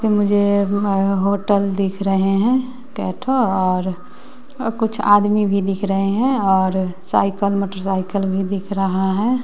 मुझे होटल दिख रहे हैं कै ठो और कुछ आदमी भी दिख रहे हैं और साइकल मोटरसाइकल भी दिख रहा है।